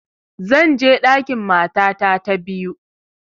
Zan je ɗakin matata ta biyu